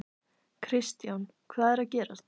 Kristján: Hvað er að gerast?